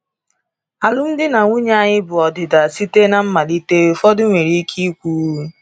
‘Alụmdi na nwunye anyị bụ ọdịda site na mmalite,’ ụfọdụ nwere ike ikwu.